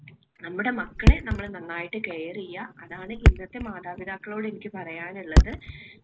നമ്മുടെ മക്കളെ നമ്മുടെ നന്നായിട്ട് care ചെയ്യുക അതാണ് ഇന്നത്തെ മാതാപിതാക്കളോട് എനിക്ക് പറയാനുള്ളത്.